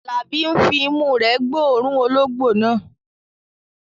Alabi ń fi imú rẹ̀ gbóòórùn ológbò náà.